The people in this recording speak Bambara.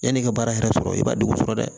Yanni i ka baara yɛrɛ sɔrɔ i b'a degun sɔrɔ dɛ